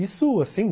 Isso, assim...